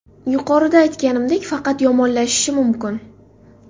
Yuqorida aytganimdek, faqat yomonlashishi mumkin.